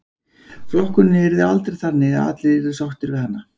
Flokkunin yrði aldrei þannig að allir yrðu sáttir við hana.